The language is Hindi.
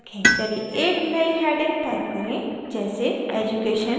चलिए एक नई heading type करें जैसेeducation details